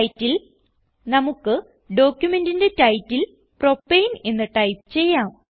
title നമുക്ക് ഡോക്യുമെന്റിന്റെ title propane എന്ന് ടൈപ്പ് ചെയ്യാം